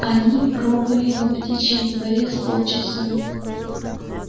они пробыли на птичьем дворе с полчаса